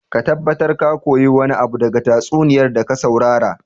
Ka tabbatar ka koyi wani abu daga tatsuniyar da ka saurara